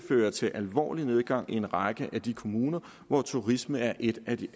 føre til alvorlig nedgang i en række af de kommuner hvor turisme er et af de